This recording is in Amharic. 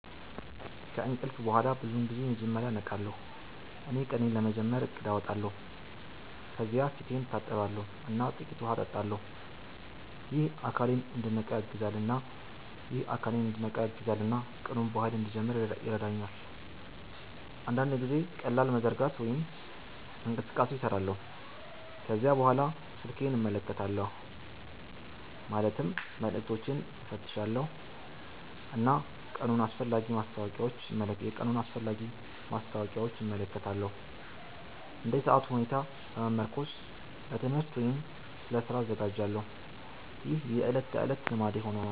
ከእንቅልፍ በኋላ ብዙውን ጊዜ መጀመሪያ እነቃለሁ እና ቀኔን ለመጀመር እቅድ አወጣለሁ። ከዚያ ፊቴን እታጠባለሁ እና ጥቂት ውሃ እጠጣለሁ። ይህ አካሌን እንዲነቃ ያግዛል እና ቀኑን በኃይል እንድጀምር ይረዳኛል። አንዳንድ ጊዜ ቀላል መዘርጋት ወይም እንቅስቃሴ እሰራለሁ። ከዚያ በኋላ ስልኬን እመለከታለሁ ማለትም መልዕክቶችን እፈትሻለሁ እና የቀኑን አስፈላጊ ማስታወቂያዎች እመለከታለሁ። እንደ ሰዓቱ ሁኔታ በመመርኮዝ ለትምህርት ወይም ለስራ እዘጋጃለሁ። ይህ የዕለት ተዕለት ልማዴ ሆኗል።